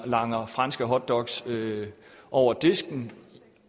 langer franske hotdogs over disken